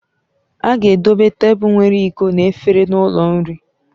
A ga-edobe tebụl nwere iko na efere n'ụlọ nri.